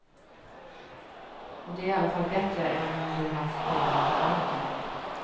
Och det är i alla fall bättre än om du haft pengarna på banken.